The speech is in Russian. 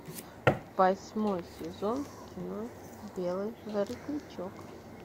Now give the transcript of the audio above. восьмой сезон кино белый воротничок